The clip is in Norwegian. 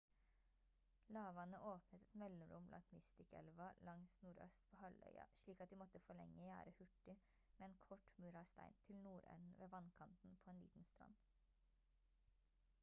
lavvannet åpnet et mellomrom langs mystic-elva langs nordøst på halvøya slik at de måtte forlenge gjerdet hurtig med en kort mur av stein til nordenden ved vannkanten på en liten strand